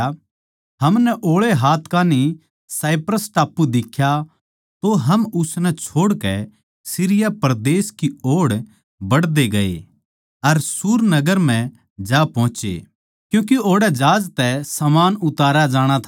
हमनै ओळै हाथ कान्ही साइप्रस टापू दिखया तो हम उसनै छोड़कै सीरिया परदेस की ओड़ बढ़ते गये अर सूर नगर म्ह जा पोहचे क्यूँके ओड़ै जहाज तै समान उतारया जाणा था